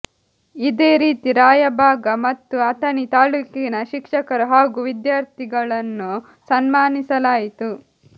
ಇದೇ ರೀತಿ ರಾಯಬಾಗ ಮತ್ತು ಅಥಣಿ ತಾಲೂಕಿನ ಶಿಕ್ಷಕರು ಹಾಗೂ ವಿದ್ಯಾಥರ್ಿಗಳನ್ನು ಸನ್ಮಾನಿಸಲಾಯಿತು